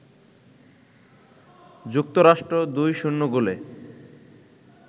যুক্তরাষ্ট্র ২-০ গোলে